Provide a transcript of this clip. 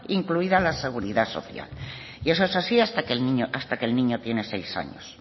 incluida la seguridad social y eso es así hasta que el niño tiene seis años